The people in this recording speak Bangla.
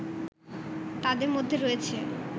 তাদের মধ্যে রয়েছে